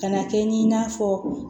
Ka na kɛ ni n'a fɔ